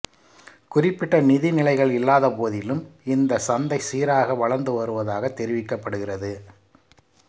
குறிப்பிட்ட நிதிநிலைகள் இல்லாதபோதிலும் இந்த சந்தை சீராக வளர்ந்துவருவதாக தெரிவிக்கப்படுகிறது